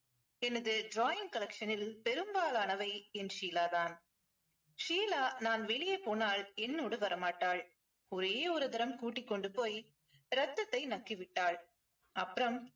எனது drawing collection ல் பெரும்பாலானவை என் ஷீலா தான் ஷீலா நான் வெளியே போனால் என்னோடு வர மாட்டாள் ஒரே ஒரு தரம் கூட்டிக் கொண்டு போய் ரத்தத்தை நக்கி விட்டாள் அப்பறம்